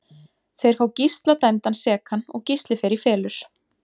Þeir fá Gísla dæmdan sekan og Gísli fer í felur.